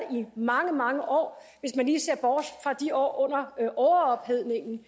i mange mange år hvis man lige ser bort fra de år under overophedningen